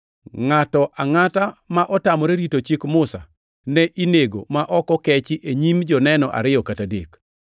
Ngʼato angʼata ma otamore rito chik Musa ne inego ma ok okechi e nyim joneno ariyo kata adek.